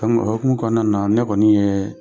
o hokumu kɔnɔna na ne kɔni ye